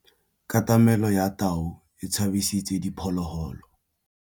Katamêlô ya tau e tshabisitse diphôlôgôlô.